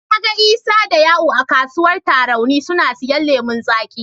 Na ga Isa da Ya'u a kasuwar Tarauni suna siyan lemon zaƙi.